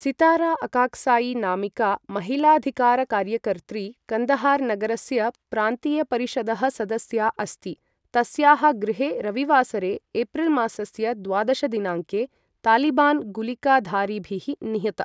सितारा अकाक्साइ नामिका महिलाधिकारकार्यकर्त्री, कन्दहार् नगरस्य प्रान्तीयपरिषदः सदस्या अस्ति, तस्याः गृहे रविवासरे एप्रिल् मासस्य द्वादश दिनाङ्के तालिबान् गुलिकाधारिभिः निहता।